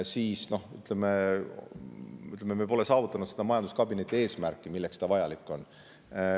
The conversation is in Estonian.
Nii et me pole saavutanud seda eesmärki, milleks majanduskabinet vajalik on.